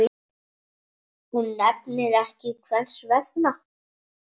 Hún nefnir ekki hvers vegna.